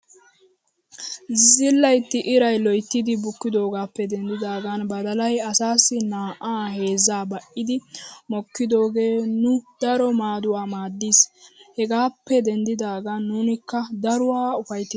Zillaytti iray loyttidi bukkidoogaappe denddidaagan badalay asaassi naa'aa heezzaa ba'idi mokkidoogee nu daro maaduwaa maaddis. Hegaappe denddidaagan nunkka daruwaa ufayttida.